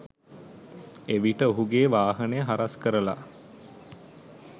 එවිට ඔහුගේ වාහනය හරස්‌ කරලා